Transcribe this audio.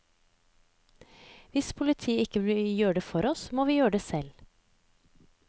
Hvis politiet ikke vil gjøre det for oss, må vi gjøre det selv.